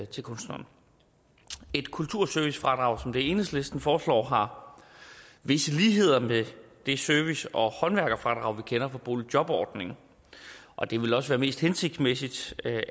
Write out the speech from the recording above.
til kunstneren et kulturservicefradrag som det enhedslisten foreslår har visse ligheder med det service og håndværkerfradrag vi kender for boligjobordningen og det vil også være mest hensigtsmæssigt